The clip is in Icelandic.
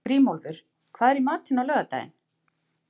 Grímólfur, hvað er í matinn á laugardaginn?